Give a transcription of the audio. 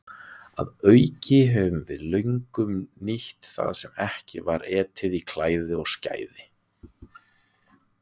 Að auki höfum við löngum nýtt það sem ekki var etið í klæði og skæði.